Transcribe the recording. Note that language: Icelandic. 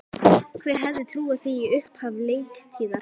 Hver hefði trúað því í upphafi leiktíðar?